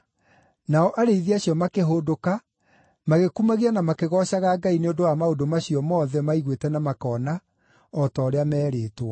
Nao arĩithi acio makĩhũndũka, magĩkumagia na makĩgoocaga Ngai nĩ ũndũ wa maũndũ macio mothe maiguĩte na makoona, o ta ũrĩa meerĩĩtwo.